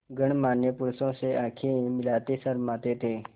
गणमान्य पुरुषों से आँखें मिलाते शर्माते थे